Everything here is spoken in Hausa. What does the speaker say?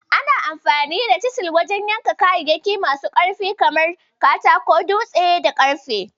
Ana amfani da Cisil wajen yanka kayayyaki masu ƙwari kamar Katako, dutse, da ƙarfe.